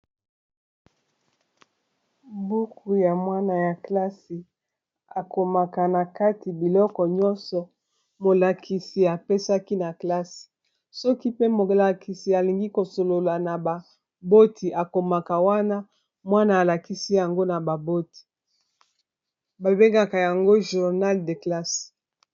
Buku ya mwana ya klase akomaka na kati biloko nyonso molakisi apesaki na classe soki pe molakisi alingi kosolola na baboti akomaka wana mwana alakisi yango na baboti babengaka yango journal de classe